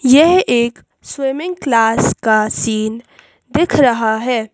यह एक swimming class का सीन दिख रहा है।